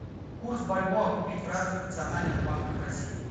курс бальбоа купить в разных национальных банках россии